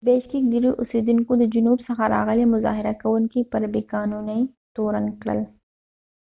د بیشکیک ډیرو اوسیدونکو د جنوب څخه راغلي مظاهره کوونکي پر بی قانونۍ تورن کړل